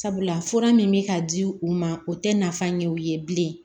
Sabula fura min bɛ ka di u ma o tɛ nafa ɲɛ u ye bilen